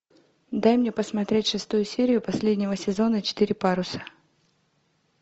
дай мне посмотреть шестую серию последнего сезона четыре паруса